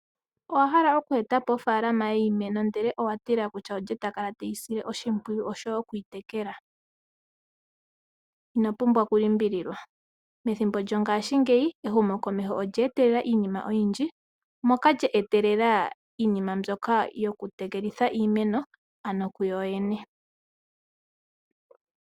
Owa hala oku etapo ofalama yiimeno ndele owa tila kutya olye takala teyi sile oshimpwiyu oshowo okuyi tekela. Ino pumbwa oku limbililwa. Methimbo lyongaashingeyi ehumokomeho olye etelela iinima oyindji moka lye etelela iinima ndyoka yoku tekelitha iimeno kuyoyene.